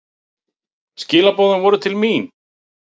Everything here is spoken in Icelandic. Skilaboðin voru til mín.